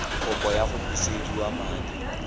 kopo ya go busediwa madi